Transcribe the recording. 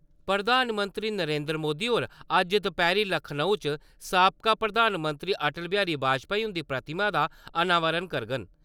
प्रधानमंत्री नरेन्द्र मोदी होर अज्ज दपैह्‌री लखनऊ च साबका प्रधानमंत्री अटल बिहारी बाजपाई उन्दी प्रतिमा दा अनावरण करङन।